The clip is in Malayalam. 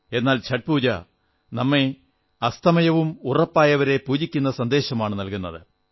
എന്നാൽ ഛഠ് പൂജ അസ്തമയം ഉറപ്പായവരെ പൂജിക്കുന്ന സന്ദേശമാണു നമുക്ക് നല്കുന്നത്